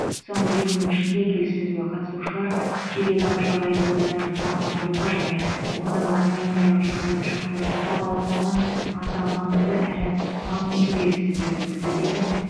соңғы екі күн ішінде келіссөзге қатысушылар сириядағы жағдайды одан ары тұрақтандыруға және ондағы гуманитарлық жағдайды жақсартуға бағытталған аса маңызды әрі мазмұнды келіссөздер өткізді деді